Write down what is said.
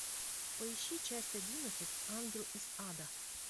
поищи часть одиннадцать ангел из ада